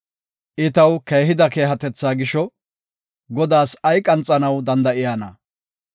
I taw keehida keehatetha gisho Godaas ay qanxanaw danda7iyana?